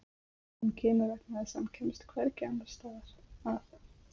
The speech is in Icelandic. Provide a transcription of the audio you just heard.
Hann kemur vegna þess að hann kemst hvergi annars staðar að.